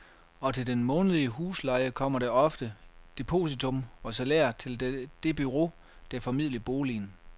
Og til den månedlige husleje kommer der ofte depositum og salær til det bureau der formidler boligen.